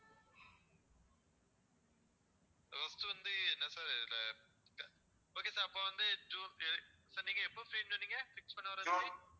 first வந்து என்ன sir இதுல okay sir அப்போ வந்து ஜூன் sir நீங்க எப்போ free ன்னு சொன்னீங்க fix பண்ண வர சொல்லி